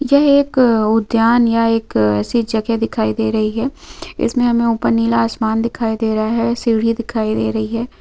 यह एक उद्यान या एक ऐसी जगह दिखाई दे रही है इसमें हमें ऊपर नीला आसमान दिखाई दे रहा है सीढ़ी दिखाई हैं ।